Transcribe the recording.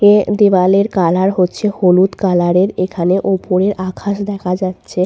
এ দেয়ালের কালার হচ্ছে হলুদ কালারের এখানে উপরের আকাশ দেখা যাচ্ছে।